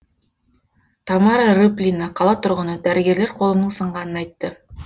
тамара рыплина қала тұрғыны дәрігерлер қолымның сынғанын айтты